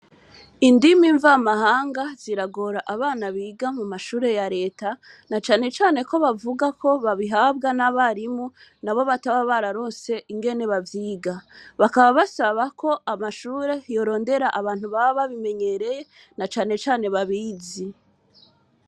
Indimi mvamahanga ziragora abana biga mu mashure ya leta na canecane ko bavuga ko babihabwa n'abarimu na bo bataba bararonse ingene bavyiga bakaba basaba ko amashure yorondera abantu baba bimenyereye na canecane babizi.